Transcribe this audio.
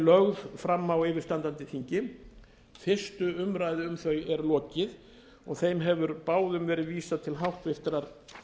lögð fara á yfirstandandi þingi fyrstu umræðu um þau er lokið og þeim hefur báðum verið vísað til háttvirtrar